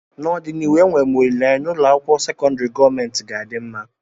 n'ọdịnihu enwere m olileanya na ụlọ akwụkwọ sekọndrị gọọmentị ga-adị mma